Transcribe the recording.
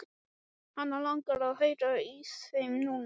Hana langar að heyra í þeim núna.